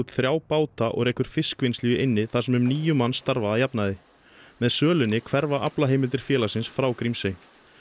þrjá báta og rekur fiskvinnslu í eynni þar sem um níu manns starfa að jafnaði með sölunni hverfa aflaheimildir félagsins frá Grímsey